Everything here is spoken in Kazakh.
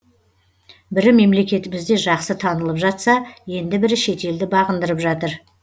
бірі мемлекетімізде жақсы танылып жатса енді бірі шетелді бағындырып жатыр